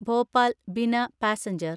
Bhopal Bina passenger